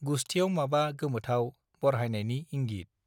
गुसथियाव माबा गोमोथाव बरहायनायनि इंगीत